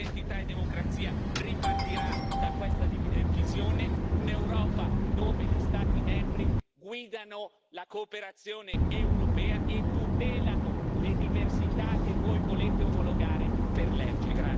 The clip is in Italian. Il gruppo Identità e democrazia ripartirà da questa visione un'Europa dove gli Stati membri guidano la cooperazione europea e tutelano le diversità che voi volete omologare per legge.